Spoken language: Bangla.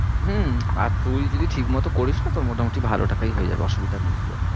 হম আর তুই যদি ঠিক মতো করিস না তোর মোটামুটি ভালো টাকাই হয়ে যাবে অসুবিধা নেই খুব একটা।